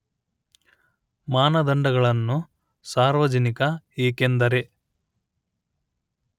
ಮಾನದಂಡಗಳನ್ನು ಸಾರ್ವಜನಿಕ ಏಕೆಂದರೆ